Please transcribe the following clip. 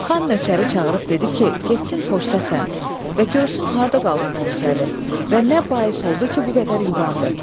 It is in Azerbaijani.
Xan nökəri çağırıb dedi ki, getsin poçta səmt və görsün harda qaldı Novruzəli və nə bais oldu ki, bu qədər yubandı.